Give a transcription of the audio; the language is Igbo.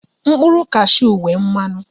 Mkpụrụ kashu n'enwe mmanụ